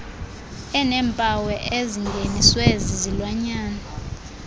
aneempawu ezingeniswe zizilwanyana